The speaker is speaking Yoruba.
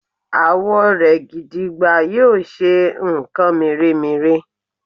àwọ rẹ gìdìgbà yíò ṣe nkan mere-mere